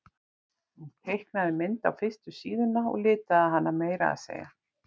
Hún teiknaði mynd á fyrstu síðuna og litaði hana meira að segja.